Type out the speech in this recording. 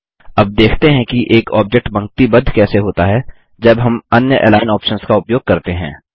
अब देखते हैं कि एक ऑब्जेक्ट पंक्तिबद्ध कैसे होता है जब हम अन्य अलिग्न ऑप्शन्स का उपयोग करते हैं